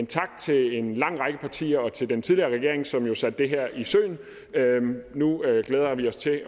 tak til en lang række partier og til den tidligere regering som jo satte det her i søen nu glæder vi os til at